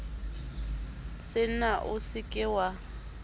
senna o se ke wa